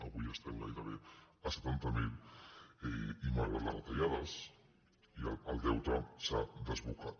avui estem gairebé a setanta miler i malgrat les retallades el deute s’ha desbocat